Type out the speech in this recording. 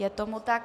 Je tomu tak.